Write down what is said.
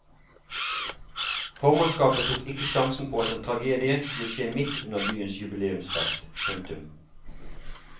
Formannskapet tok ikke sjansen på at en tragedie skulle skje midt under byens jubileumsfest. punktum